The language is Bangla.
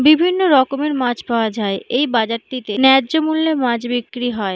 বিভিন্ন রকমের মাছ পাওয়া যায় এই বাজারটিতে ন্যায্য মূল্যে মাছ বিক্রি হয়।